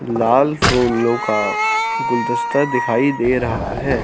लाल फूलों का गुलदस्ता दिखाई दे रहा है।